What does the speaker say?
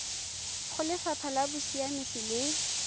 go lefapha la bosiamisi le